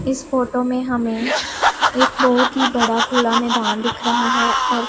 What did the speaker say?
इस फोटो में हमें एक बहोत ही बड़ा खुला मैदान दिख रहा हैं और--